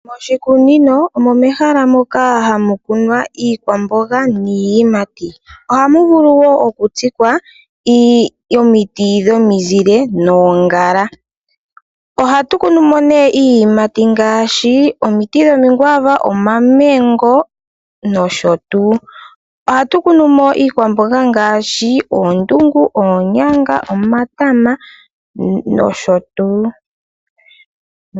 Oshikunino omehala moka hamu kunwa iikwamboga niiyimati. Ohamu vulu woo okutsikwa omiti dhomizile noongala. Ohatu kunumo nee iiyimati ngaashi omiti dhomaguava, omamengo nosho tuu. Ohatu kunumo iikwamboga ngaashi oondungu, oonyanga, omatama nosho tuu.